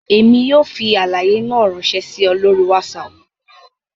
Emi yoo fi alaye naa ranṣẹ si ọ lori Wásáápu